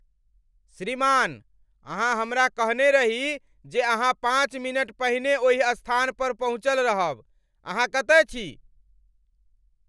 श्रीमान, अहाँ हमरा कहने रही जे अहाँ पाँच मिनट पहिने ओहि स्थान पर पहुँचल रहब। अहाँ कतय छी?